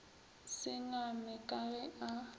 se ngame ka ge a